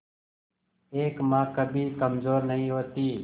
एक मां कभी कमजोर नहीं होती